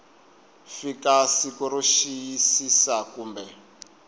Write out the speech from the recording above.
fika siku ro xiyisisa kumbe